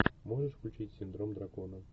можешь включить синдром дракона